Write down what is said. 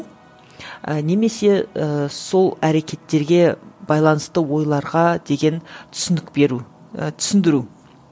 і немесе ііі сол әрекеттерге байланысты ойларға деген түсінік беру ііі түсіндіру